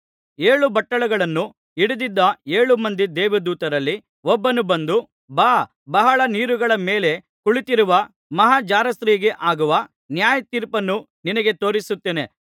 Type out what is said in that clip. ಏಳು ಬಟ್ಟಲುಗಳನ್ನು ಹಿಡಿದಿದ್ದ ಏಳು ಮಂದಿ ದೇವದೂತರಲ್ಲಿ ಒಬ್ಬನು ಬಂದು ಬಾ ಬಹಳ ನೀರುಗಳ ಮೇಲೆ ಕುಳಿತ್ತಿರುವ ಮಹಾ ಜಾರಸ್ತ್ರೀಗೆ ಆಗುವ ನ್ಯಾಯತೀರ್ಪನ್ನು ನಿನಗೆ ತೋರಿಸುತ್ತೇನೆ